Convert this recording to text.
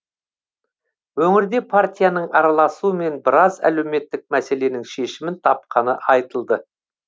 өңірде партияның араласуымен біраз әлеуметтік мәселенің шешімін тапқаны айтылды